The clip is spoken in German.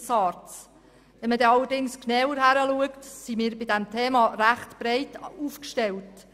Wenn man allerdings genauer hinschaut, sind wir bei diesem Thema recht breit aufgestellt.